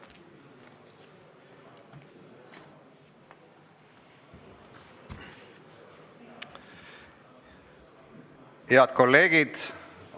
Head kolleegid!